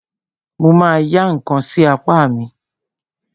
Mo ma ya ǹkan sí apá mi.